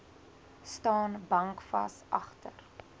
staan bankvas agter